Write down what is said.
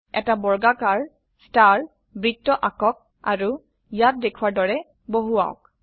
এটা বৰ্গাকাৰ স্তাৰ বৃত্ত আঁকক আৰু ইয়াত দেখোৱাৰ দৰে বহাওক